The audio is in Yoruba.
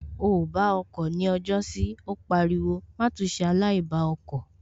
O ò bá ọkọ̀ ni ọjọ́sí Ó pariwo má tún ṣe aláìbá ọkọ̀